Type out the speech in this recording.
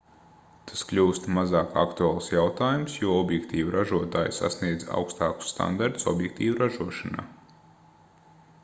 tas kļūst mazāk aktuāls jautājums jo objektīvu ražotāji sasniedz augstākus standartus objektīvu ražošanā